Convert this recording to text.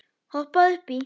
Hoppaðu upp í.